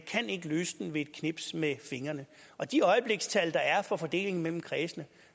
kan ikke løse den ved et knips med fingrene de øjeblikstal der er for fordelingen mellem kredsene